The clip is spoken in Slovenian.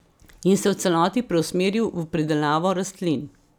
In se v celoti preusmeril v pridelavo rastlin.